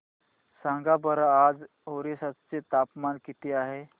सांगा बरं आज ओरिसा चे तापमान किती आहे